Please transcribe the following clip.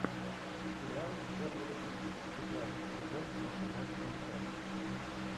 сериал формулы жизни пятнадцатый сезон восемнадцатая часть